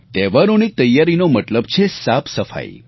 તહેવારોની તૈયારીનો મતબલ છે સાફસફાઈ